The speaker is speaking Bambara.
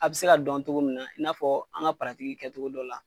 A bɛ se ka dɔn cogo min na i n'a fɔ an ka kɛ cogo dɔ la.